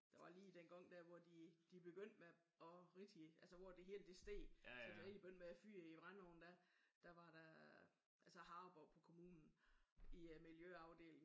Der var lige den gang der hvor de de begyndte med at rigtigt altså hvor det hele det steg. Så de begyndte at fyre i brændeovnen da var der harme oppe på kommunen i miljøafdelingen